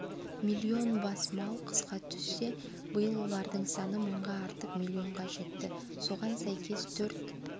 миллион бас мал қысқа түссе биыл олардың саны мыңға артып миллионға жетті соған сәйкес төрт